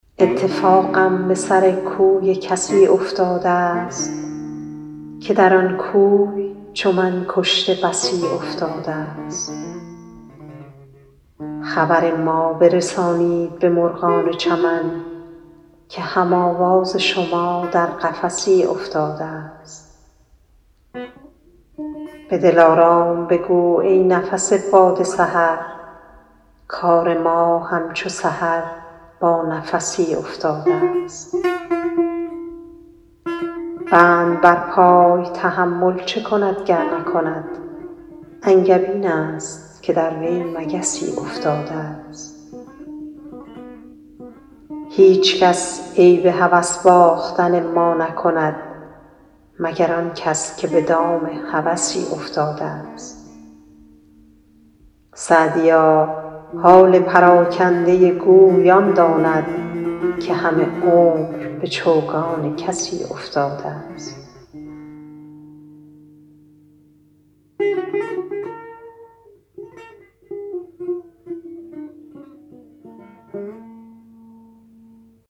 اتفاقم به سر کوی کسی افتاده ست که در آن کوی چو من کشته بسی افتاده ست خبر ما برسانید به مرغان چمن که هم آواز شما در قفسی افتاده ست به دلارام بگو ای نفس باد سحر کار ما همچو سحر با نفسی افتاده ست بند بر پای تحمل چه کند گر نکند انگبین است که در وی مگسی افتاده ست هیچکس عیب هوس باختن ما نکند مگر آن کس که به دام هوسی افتاده ست سعدیا حال پراکنده گوی آن داند که همه عمر به چوگان کسی افتاده ست